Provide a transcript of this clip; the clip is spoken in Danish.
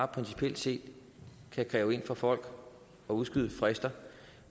principielt set kan kræves ind fra folk og udskydes frister